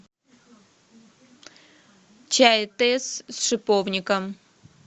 чай тесс с шиповником